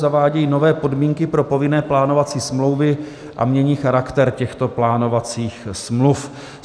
Zavádějí nové podmínky pro povinné plánovací smlouvy a mění charakter těchto plánovacích smluv.